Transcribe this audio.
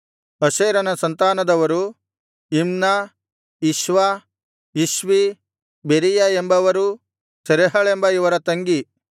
ಅಶೇರನ ಸಂತಾನದವರು ಇಮ್ನ ಇಷ್ವ ಇಷ್ವೀ ಬೆರೀಯ ಎಂಬವರೂ ಸೆರಹಳೆಂಬ ಇವರ ತಂಗಿ